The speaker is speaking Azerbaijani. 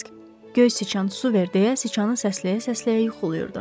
Krisk göy sıçan su ver deyə sıçanın səsləyə-səsləyə yuxulayırdı.